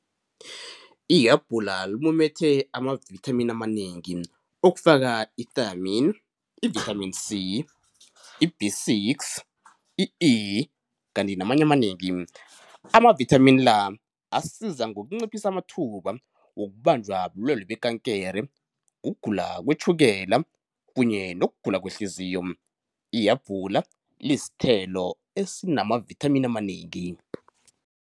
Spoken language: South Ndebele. Ihabhula limumethe amavithamini amanengi okufaka i-thiamine, i-vitamin C, i-B six, i-E kanti namanye amanengi. Amavithamini la asiza ngokunciphisa amathuba wokubanjwa bulwelwe bekankere, ukugula kwetjhukela kunye nokugula kwehliziyo. Ihabhula lisithelo esinamavithamini amanengi.